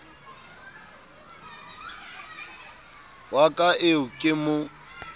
wa ka eo ke mo